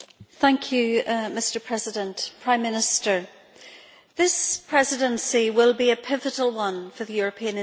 Mr President, Prime Minister, this Presidency will be a pivotal one for the European institutions.